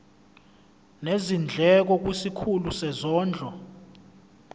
nezindleko kwisikhulu sezondlo